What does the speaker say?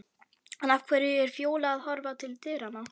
En af hverju er Fjóla að horfa til dyranna?